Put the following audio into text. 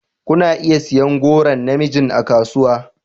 Kuna iya siyan goron na mijin a kasuwa.